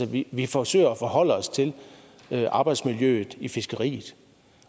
vi vi forsøger at forholde os til arbejdsmiljøet i fiskeriet